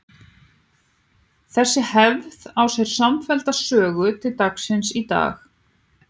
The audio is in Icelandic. Þessi hefð á sér samfellda sögu til dagsins í dag.